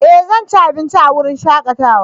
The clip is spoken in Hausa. Eh! Zan ci abinci a wurin shakatawa.